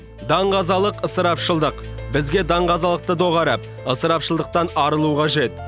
даңғазалық ысырапшылдық бізге даңғазалықты доғарып ысырапшылдықтан арылу қажет